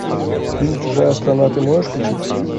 фильм чужая страна ты можешь включить